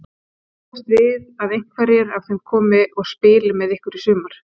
Má búast við að einhverjir af þeim komi og spili með ykkur í sumar?